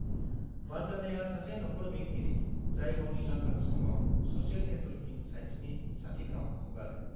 वंदनाया सासे नखर बेंगिरि, जाय गावनि लांदां समआव स'शियेल नेटवर्किं साइट्सनि चैटिंआव हगारो।